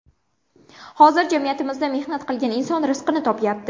Hozir jamiyatimizda mehnat qilgan inson rizqini topyapti.